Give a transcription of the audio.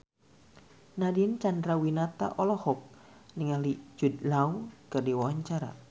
Nadine Chandrawinata olohok ningali Jude Law keur diwawancara